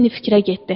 Lenni fikrə getdi.